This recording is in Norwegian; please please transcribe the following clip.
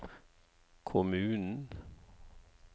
kommunen